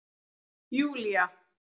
Júlía